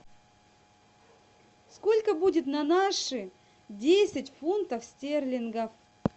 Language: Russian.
сколько будет на наши десять фунтов стерлингов